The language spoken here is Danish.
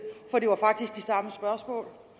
for